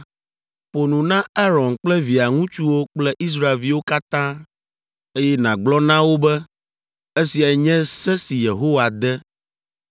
“Ƒo nu na Aron kple via ŋutsuwo kple Israelviwo katã, eye nàgblɔ na wo be, ‘Esiae nye se si Yehowa de: